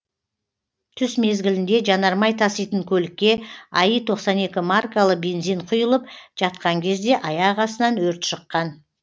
түс мезгілінде жанармай таситын көлікке аи тоқсан екі маркалы бензин құйылып жатқан кезде аяқ астынан өрт шыққан